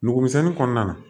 Nugumisɛnnin kɔnɔna na